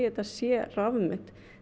þetta sé rafmynt